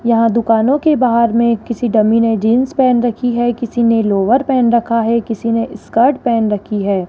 यहां दुकानों के बाहर में किसी डम्मी ने जींस पहन रखी हैं किसी ने लोवर पहन रखा किसी ने स्कर्ट पहन रखी है।